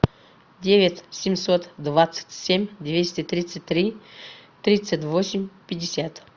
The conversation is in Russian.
девять семьсот двадцать семь двести тридцать три тридцать восемь пятьдесят